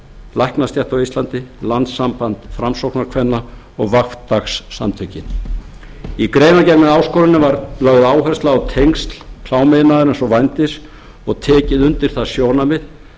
læknastétt á íslandi landssamband framsóknarkvenna og fimm dagssamtökin í greinargerð með áskoruninni var lögð áhersla á tengsl klámiðnaðarins og vændis og tekið undir það sjónarmið